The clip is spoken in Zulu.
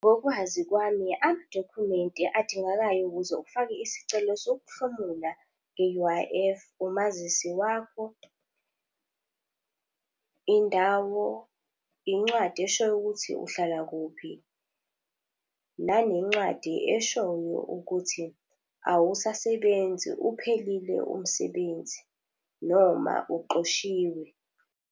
Ngokwazi kwami amadokhumenti adingekayo ukuze ufake isicelo sokuhlomumula nge-U_I_F, umazisi wakho, indawo, incwadi eshoyo ukuthi uhlala kuphi. Nanencwadi eshoyo ukuthi awusasebenzi, uphelile umsebenzi noma uxoshiwe.